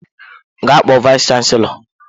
Gaa kpọọ vayis chansilọ!